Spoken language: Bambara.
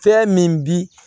Fɛn min bi